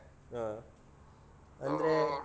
ಹ ಅಂದ್ರೆ